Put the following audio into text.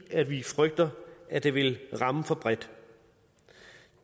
at vi frygter at det vil ramme for bredt